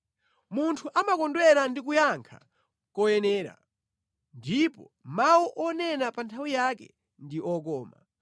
Munthu amakondwera ndi kuyankha koyenera, ndipo mawu onena pa nthawi yake ndi okoma.